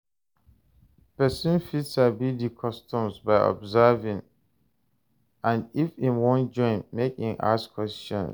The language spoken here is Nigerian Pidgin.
Persin fit sabi di customs by observing and if im won join make e ask question